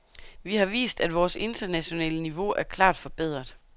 Vi har vist, at vores internationale niveau er klart forbedret.